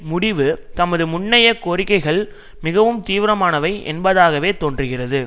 முடிவு தமது முன்னைய கோரிக்கைகள் மிகவும் தீவிரமானவை என்பதாகவே தோன்றுகிறது